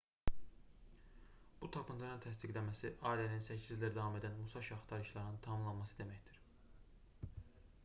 bu tapıntının təsdiqlənməsi allenin 8 ildir davam edən musaşi axtarışlarının tamamlanması deməkdir